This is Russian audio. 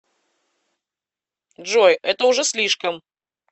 джой это уже слишком